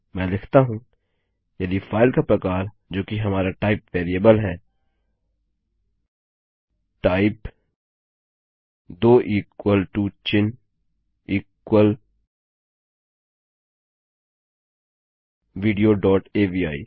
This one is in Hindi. मैं लिखता हूँ यदि फाइल का प्रकार जोकि हमारा टाइप वेरिएबल है t y p ई दो इक्वल टू चिन्ह इक्वल विडियो डोट अवि